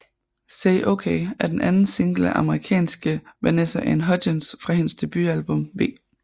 Say OK er den anden single af amerikanske Vanessa Anne Hudgens fra hendes debutalbum V